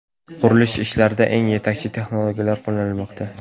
Qurilish ishlarida eng yetakchi texnologiyalar qo‘llanilmoqda.